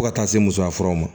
Fo ka taa se musoyafuraw ma